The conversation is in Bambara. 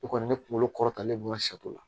I kɔni ne kunkolo kɔrɔ talen don ŋa la